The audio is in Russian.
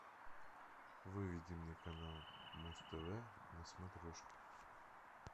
выведи мне канал муз тв на смотрешке